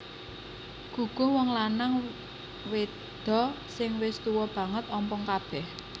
Guguh Wong lanang wedho sing wis tuwa banget ompong kabeh